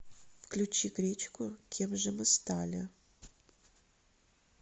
включи гречку кем же мы стали